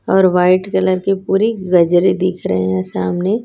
और white colour की पूरी गजरे दिख रहे हैं सामने--